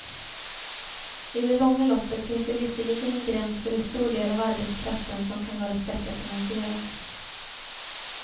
I det långa loppet finns det visserligen en gräns för hur stor del av arbetskraften som kan vara skattefinansierad.